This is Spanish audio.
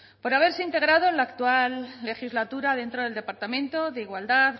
por haberse integrado en la actual legislatura dentro del departamento de igualdad